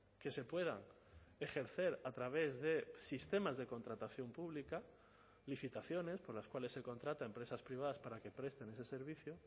que se puedan ejercer a través de sistemas de contratación pública licitaciones por las cuales se contrata a empresas privadas para que presten ese servicio